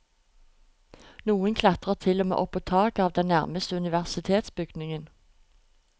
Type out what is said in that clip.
Noen klatret til og med opp på taket av den nærmeste universitetsbygningen.